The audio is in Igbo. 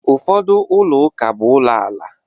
Ụfọdụ ụlọ ụka bụ ụlọ ala.